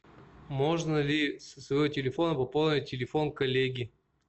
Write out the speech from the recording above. можно ли со своего телефона пополнить телефон коллеги